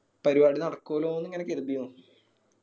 പരുവാടി നടക്കുലൂന്ന് ഇങ്ങനെ കരുതിയനു.